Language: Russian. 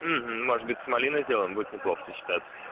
может быть малиной сделаем будет неплохо сочетаться